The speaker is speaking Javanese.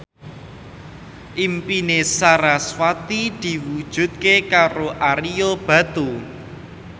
impine sarasvati diwujudke karo Ario Batu